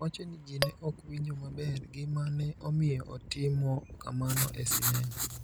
wacho ni ji ne ok winjo maber gima ne omiyo otimo kamano e sinema.